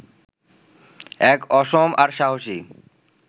এক অসম আর সাহসী